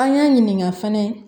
An y'a ɲininka fɛnɛ